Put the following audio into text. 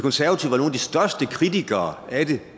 største kritikere af det